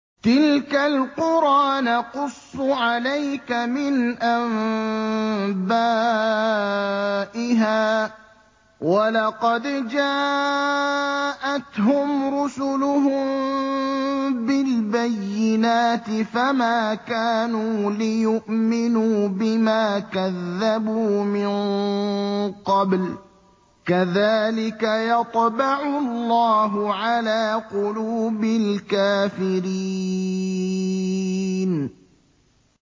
تِلْكَ الْقُرَىٰ نَقُصُّ عَلَيْكَ مِنْ أَنبَائِهَا ۚ وَلَقَدْ جَاءَتْهُمْ رُسُلُهُم بِالْبَيِّنَاتِ فَمَا كَانُوا لِيُؤْمِنُوا بِمَا كَذَّبُوا مِن قَبْلُ ۚ كَذَٰلِكَ يَطْبَعُ اللَّهُ عَلَىٰ قُلُوبِ الْكَافِرِينَ